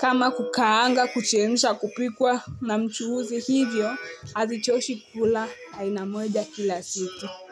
kama kukaanga kuchemsha kupikwa na mchuuzi hivyo Hazichoshi kukula aina moja kila siku.